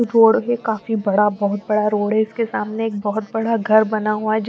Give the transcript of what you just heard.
road है काफी बड़ा बहोत बड़ा रोड है इसके सामने एक बहोत बड़ा घर बना हुआ है जो --